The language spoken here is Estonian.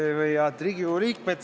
Head Riigikogu liikmed!